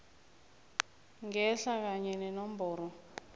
ngehla kanye nenomboro